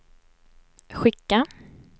skicka